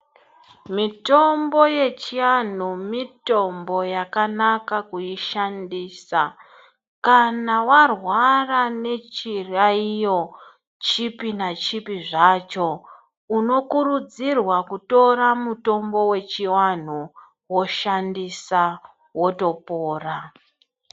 Mitombo yechiantu mitombo yakanaka kuishandisa. Kana warwara nechiyaiyo chipi nachipi zvacho unokurudzirwa kutora mutombo yechiantu woshandisa wotopora.